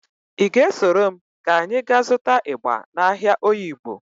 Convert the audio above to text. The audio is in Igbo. Ị ga-esoro m ka anyị ga zụta ịgba n'ahịa Oyigbo?